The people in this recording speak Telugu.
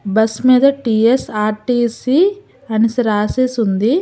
బస్ మీద టీ_ఎస్_ఆర్_టీ_సీ అనేసి రాసేసి ఉంది.